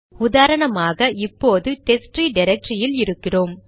உதாரணமாக இப்போது டெஸ்ட்ட்ரீ டிரக்டரியில் இருக்கிறோம்